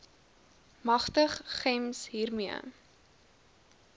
magtig gems hiermee